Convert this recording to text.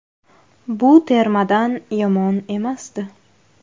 Bu termadan yomon emasdi.